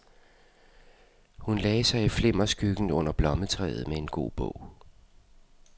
Hun lagde sig i flimmerskyggen under blommetræet med en god bog.